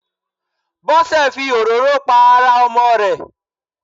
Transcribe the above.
Bósè fi òróró pa ara Ọmọ rè